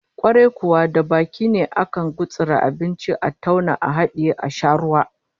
Kwarai kuwa, da baki ne akan gutsuri abinci, a tauna a hadiye, a sha ruwa